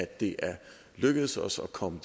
det er lykkedes os at komme